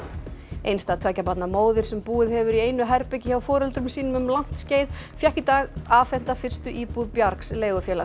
einstæð tveggja barna móðir sem búið hefur í einu herbergi hjá foreldrum sínum um langt skeið fékk í dag afhenta fyrstu íbúð bjargs leigufélags